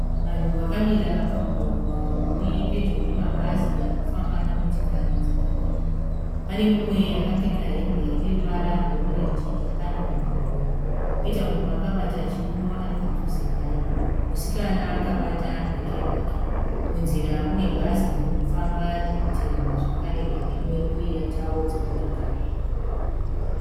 Vanhu vakamira pamugwagwa uripedyo nemabhazi nemotokari dzakamira. Pane mumwe akapfeka hembe ineruvara rwe orenji yakanyorwa gore koita mumwe akabata chiuno aripadhuze naye. Musikana akabata bheke rake. Munzura mune bhazi ririkufamba riri kuteerwa nerimwe kwoita ve dzimotokari.